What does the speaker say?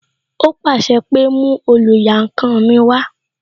Ó pàṣẹ pé "mú oluyankan mi wá"